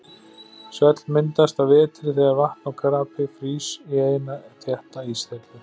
Svell myndast að vetri þegar vatn og krapi frýs í eina þétta íshellu.